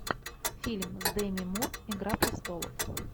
фильм с деми мур игра престолов